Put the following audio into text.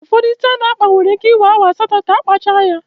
Ụfọdụ ísí a na-akpa nwere íké iwee awa asatọ ka akpacha ya.